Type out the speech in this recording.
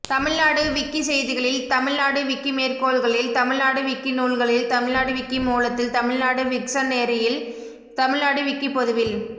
தமிழ்நாடு விக்கிசெய்திகளில் தமிழ்நாடு விக்கிமேற்கோள்களில் தமிழ்நாடு விக்கிநூல்களில் தமிழ்நாடு விக்கிமூலத்தில் தமிழ்நாடு விக்சனரியில் தமிழ்நாடு விக்கிப்பொதுவில்